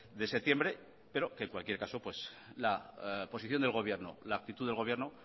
de septiembre pero que en cualquier caso la posición del gobierno la aptitud del gobierno